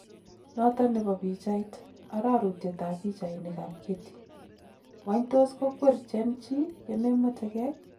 Noton nebo pichait, arorutyet ab Pichainik ab Getty, Wany tos kokwer gen chi Yememwetgei?.